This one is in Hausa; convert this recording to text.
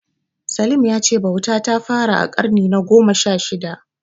Salim ya ce bauta ta fara a ƙarni na gona sha shida.